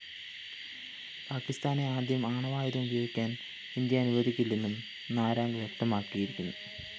പാക്കിസ്ഥാനെ ആദ്യം ആണവായുധം ഉപയോഗിക്കാന്‍ ഇന്ത്യ അനുവദിക്കില്ലെന്നും നാരാംഗ് വ്യക്തമാക്കിയിരുന്നു